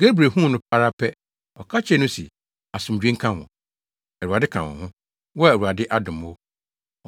Gabriel huu no ara pɛ, ɔka kyerɛɛ no se, “Asomdwoe nka wo! Awurade ka wo ho, wo a Awurade adom wo.”